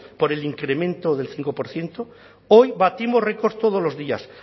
por el incremento del cinco por ciento hoy batimos records todos los días